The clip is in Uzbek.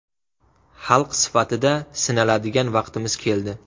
Xalq sifatida sinaladigan vaqtimiz keldi.